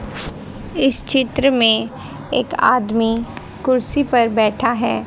इस चित्र में एक आदमी कुर्सी पर बैठा है।